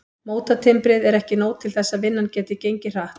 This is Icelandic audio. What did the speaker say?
Mótatimbrið er ekki nóg til þess að vinnan geti gengið hratt.